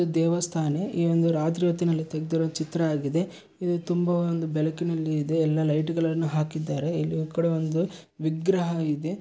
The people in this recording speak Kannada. ಇದು ದೇವಸ್ಥಾನೆ ಈ ಒಂದು ರಾತ್ರಿ ಹೊತ್ತಿನಲ್ಲಿ ತೆಗೆದಿರುವ ಚಿತ್ರ ಆಗಿದೆ ಇದು ತುಂಬಾ ಒಂದು ಬೆಲಕಿನಲ್ಲಿ ಇದೆ ಎಲ್ಲಾ ಲೈಟು ಗಳನ್ನು ಹಾಕಿದ್ದಾರೆ ಇಲ್ಲಿ ಈ ಕಡೆ ಒಂದು ವಿಗ್ರಹ ಇದೆ.